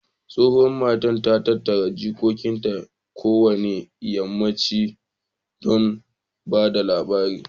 Tsohuwan mata, ta na tattara jikokin ta kowane yammanchi don ba da labarai.